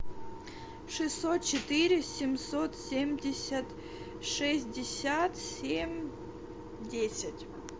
шестьсот четыре семьсот семьдесят шестьдесят семь десять